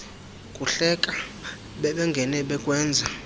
kuhleka bebengene bekwenza